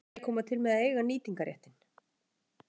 Hverjir koma til með að eiga nýtingarréttinn?